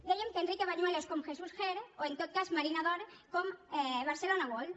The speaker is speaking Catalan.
dèiem que enrique bañuelos com jesús ger o en tot cas marina d’or com barcelona world